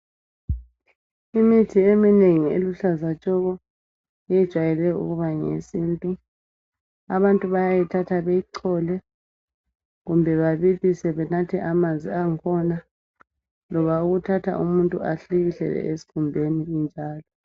Imithi eminengi eluhlaza tshoko ijwayele ukuba ngeyesintu. Abantu bayayithatha beyichole kumbe babilise amanzi ayo benathe amanzi angikhona loba ukuthatha umuntu ahlikihlele esikhumbeni injalo.